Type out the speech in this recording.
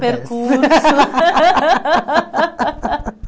Percurso.